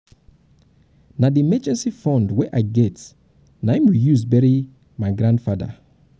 na the emergency fund wey i get na um im we um im we use bury my grandfather